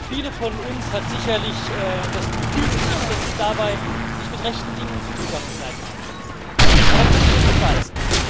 Viele von uns hat sicherlich das Gefühl beschlichen, dass es dabei nicht mit rechten Dingen zugegangen sein mag. Aber können wir das beweisen?